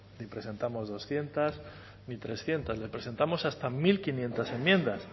ni presentamos doscientos ni trescientos le presentamos hasta mil quinientos enmiendas